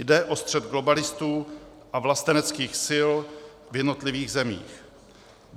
Jde o střet globalistů a vlasteneckých sil v jednotlivých zemích.